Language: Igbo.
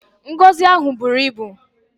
Ngọzị a buru ibu!